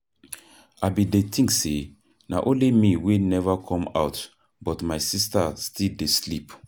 I bin dey think say na only me wey never come out but my sister still dey sleep.